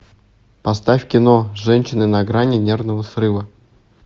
поставь кино женщины на грани нервного срыва